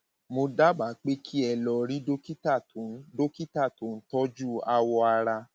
mo dábàá pé kí ẹ lọ rí dókítà tó ń dókítà tó ń tọjú awọ ara